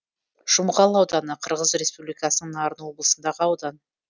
жұмғал ауданы қырғыз республикасының нарын облысындағы аудан